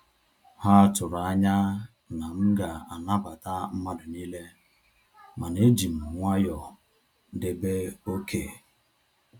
Ha tụrụ anya na m ga anabata mmadụ niile, mana ejim nwayọọ debe oké